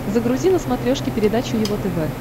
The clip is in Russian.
загрузи на смотрешке передачу его тв